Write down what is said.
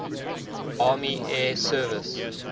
army air service